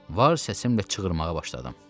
Var səsimlə çığırmağa başladım.